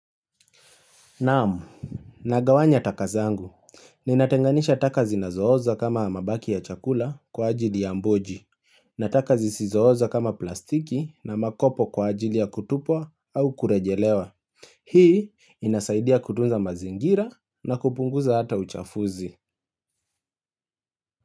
Naam Nagawanya taka zangu Ninatenganisha taka zinazohoza kama mabaki ya chakula kwa ajili ya mboji na taka zisizohoza kama plastiki na makopo kwa ajili ya kutupwa au kurejelewa Hii inasaidia kutunza mazingira na kupunguza hata uchafuzi.